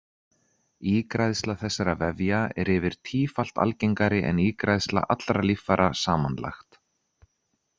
Ígræðsla þessara vefja er yfir tífalt algengari en ígræðsla allra líffæra samanlagt.